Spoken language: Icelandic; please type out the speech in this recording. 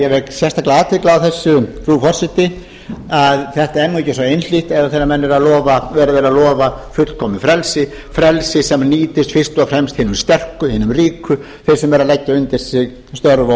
sérstaklega athygli á þessu frú forseti að þetta er nú ekki svo einhlítt eða þegar er verið að lofa fullkomnu frelsi frelsi sem nýtist fyrst og fremst hinum sterku hinum ríku þeim sem eru að leggja undir sig störf og